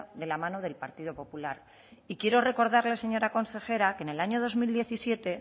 de la mano del partido popular y quiero recordarle señora consejera que en el año dos mil diecisiete